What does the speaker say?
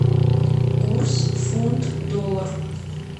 курс фунт доллар